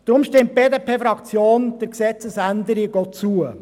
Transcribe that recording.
Deshalb stimmt die BDP-Fraktion der Gesetzesänderung zu.